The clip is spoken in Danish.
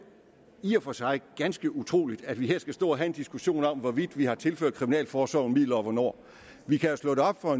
i og for sig er ganske utroligt at vi her skal stå og have en diskussion om hvorvidt vi har tilført kriminalforsorgen midler og hvornår vi kan jo slå det op og